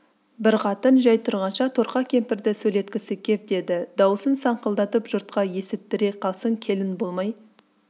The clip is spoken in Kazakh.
бір қатын жай тұрғанша торқа кемпірді сөйлеткісі кеп деді дауысын саңқылдатып жұртқа есіттіре қалсын келін болмай